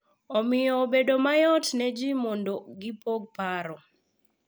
Omiyo obedo mayot ne ji mondo gipog paro